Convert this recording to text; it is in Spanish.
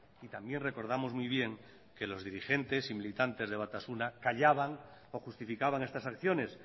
y también recordamos muy bien que los dirigentes y militantes de batasuna callaban o justificaban estas acciones